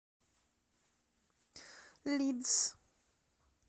лидс